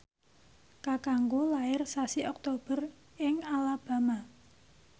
kakangku lair sasi Oktober ing Alabama